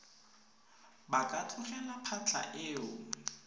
ba ka tlogela phatlha eo